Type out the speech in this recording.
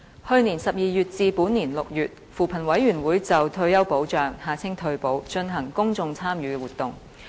去年12月至本年6月，扶貧委員會就退休保障進行公眾參與活動。